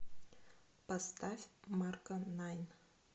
поставь марко найн